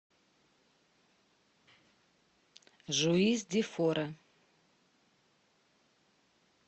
жуис ди фора